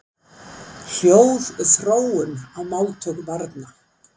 Hljóðþróun í máltöku barna.